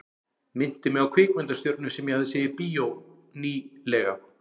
Minnti mig á kvikmyndastjörnu sem ég hafði séð í bíó ný- lega.